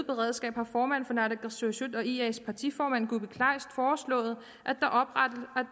beredskab har formanden for naalakkersuisut og ias partiformand kuupik kleist foreslået